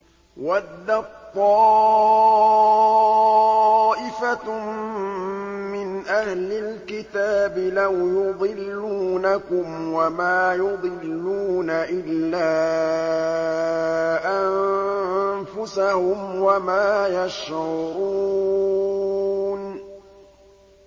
وَدَّت طَّائِفَةٌ مِّنْ أَهْلِ الْكِتَابِ لَوْ يُضِلُّونَكُمْ وَمَا يُضِلُّونَ إِلَّا أَنفُسَهُمْ وَمَا يَشْعُرُونَ